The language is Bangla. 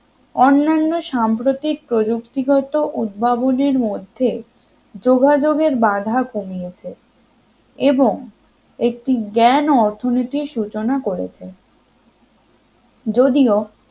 অন্যান্য সাম্প্রতিক প্রযুক্তিগত উদ্ভাবনের মধ্যে যোগাযোগের বাধা কমিয়েছে এবং একটি জ্ঞান ও অর্থনীতি সূচনা করেছে যদিও